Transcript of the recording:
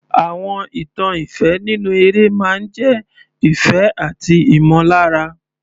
Àwọn ìtàn ìfẹ́ nínú eré máa ń jẹ́ ìfẹ́ àti ìmọ̀lára.